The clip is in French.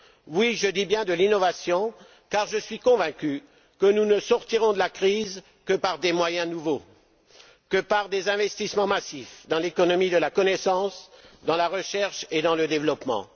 Oui, je dis bien de l'innovation, car je suis convaincu que nous ne sortirons de la crise que par des moyens nouveaux et par des investissements massifs dans l'économie de la connaissance, dans la recherche et dans le développement.